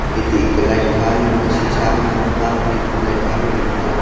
ete eke light pha nu a shima ma patle light pha le ngan te aa.